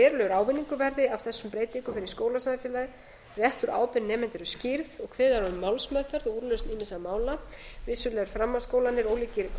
að verulegur ávinningur verði af þessum breytingum fyrir skólasamfélagið réttur og ábyrgð nemenda eru skýrð og kveðið er á um málsmeðferð og úrlausn ýmissa mála vissulega eru framhaldsskólarnir ólíkir grunnskólunum